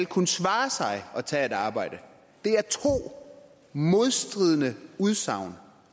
kunne svare sig at tage et arbejde det er to modstridende udsagn